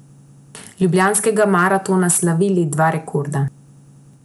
Ljubljanskega maratona slavili dva rekorda.